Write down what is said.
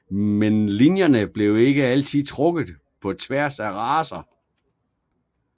Men linjerne blev ikke altid trukket på tværs af racer